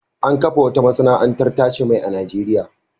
An kafa wata masana'antar tace mai a Najeriya.